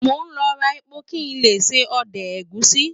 Mo lọ ra epo kí n lè se ọdẹ̀ ẹ̀gúsí